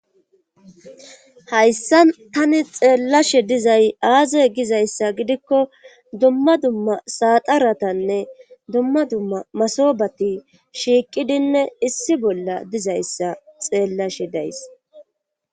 hayssa tani xeellashe dizay aazay gizayssa gidikko dumma dumma saaxaratanne dumma dumma masobati shiiqidinne issi bolla dizayssa xeellashe days